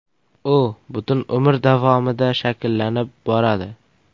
U butun umr davomida shakllanib boradi.